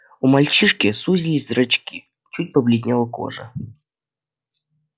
у мальчишки сузились зрачки чуть побледнела кожа